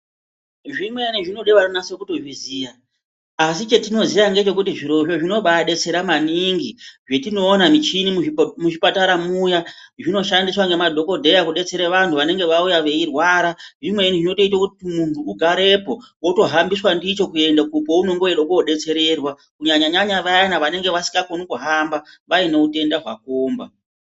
Zvimweni zvinode vanonase kutozviziya asi chetinoziya ngechekuti zvirozvo zvinoba adetsera maningi zvetinoona michini muzvipatara muya zvinoshandiswa ngemadhokodheya kudetsere vanhu vanenge vauya vechirwara zvimweni zvinoite kuti munhu ugarepo wotohambiswa ndicho kuendeswe paunenge weide kodetsererwa kunyanyanya vaya vanenge vasingakone kuhamba vaine utenda hwakomba.